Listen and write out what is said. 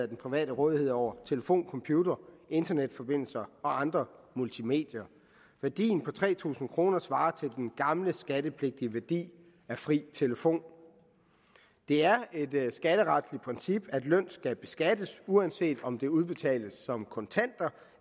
den private rådighed over telefon computer internetforbindelse og andre multimedier værdien på tre tusind kroner svarer til den gamle skattepligtige værdi af fri telefon det er et skatteretligt princip at løn skal beskattes uanset om den udbetales som kontanter